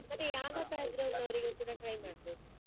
ಮತ್ತೆ ಯಾವ ನವರಿಗು ಕೂಡ try ಮಾಡ್ಬೋದು.